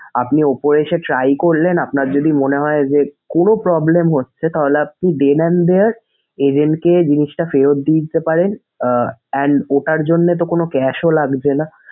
আপনি উপরে এসে try করলেন আপনার যদি মনে হয় যে কোনো problem হচ্ছে তাহলে আপনি agent কে জিনিসটা ফেরত দিয়ে দিতে পারেন আহ and ওটার জন্যে তো কোনো cash ও লাগছেনা।